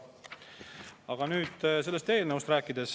Aga nüüd sellest eelnõust.